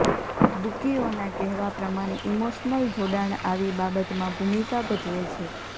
બુકીઓના કહેવા પ્રમાણે ઇમોશનલ જોડાણ આવી બાબતમાં ભૂમિકા ભજવે છે